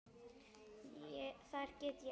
Þar get ég elskað alla.